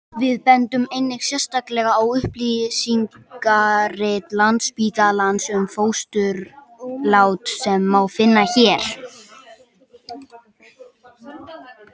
við bendum einnig sérstaklega á upplýsingarit landsspítalans um fósturlát sem má finna hér